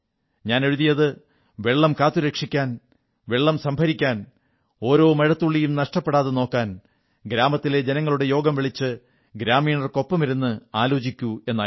ഞാൻ എഴുതിയത് വെള്ളം കാത്തുരക്ഷിക്കാൻ വെള്ളം സംഭരിക്കാൻ ഓരോ മഴത്തുള്ളിയും നഷ്ടപ്പെടാതെ നോക്കാൻ ഗ്രാമത്തിലെ ജനങ്ങളുടെ യോഗം വിളിച്ച് ഗ്രാമീണർക്കൊപ്പമിരുന്ന് ആലോചിക്കൂ എന്നായിരുന്നു